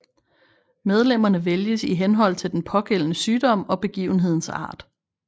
Medlemmerne vælges i henhold til den pågældende sygdom og begivenhedens art